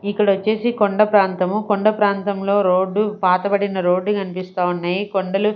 ఇక్కడ వచ్చేసి కొండా ప్రాంతము కొండా ప్రాంతములో రోడ్డు పాత బడిన రోడ్డు కనిపిస్తా ఉన్నాయి ఈ కొండలు --